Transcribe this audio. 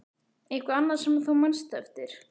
Eitthvað annað sem þú manst eftir?